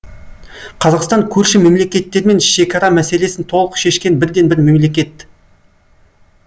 қазақстан көрші мемлекеттермен шекара мәселесін толық шешкен бірден бір мемлекет